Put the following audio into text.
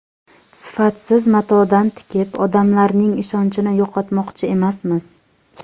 Sifatsiz matodan tikib, odamlarning ishonchini yo‘qotmoqchi emasmiz.